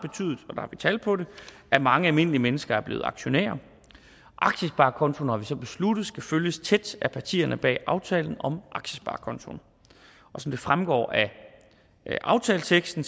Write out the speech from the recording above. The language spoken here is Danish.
vi tal på det at mange almindelige mennesker er blevet aktionærer aktiesparekontoen har vi så besluttet skal følges tæt af partierne bag aftalen om aktiesparekontoen som det fremgår af aftaleteksten